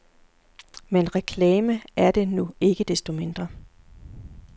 Men reklame er det nu ikke desto mindre.